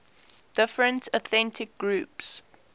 different ethnic groups